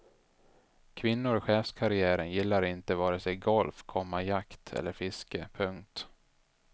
Kvinnor i chefskarriären gillar inte vare sig golf, komma jakt eller fiske. punkt